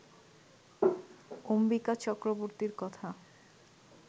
অম্বিকা চক্রবর্তীর কথা